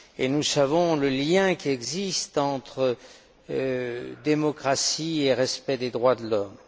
Nous savons le lien qui existe entre démocratie et respect des droits de l'homme.